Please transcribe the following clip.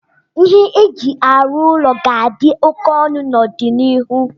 ihe eji arụ ụlọ ga-adị óké ọnụ n'ọdịnihu